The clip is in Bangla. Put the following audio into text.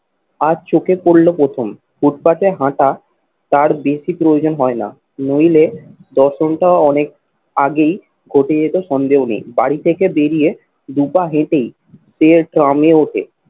আজ চোখে পড়লো প্রথম। ফুটপাতে হাঁটা তার বেশি প্রয়োজন হয় না নইলে দর্শনটাও অনেক আগেই ঘটে যেত সন্দেহ নেই। বাড়ি থেকে বেরিয়ে দু পা হেঁটেই তেল ট্রামে ওঠে।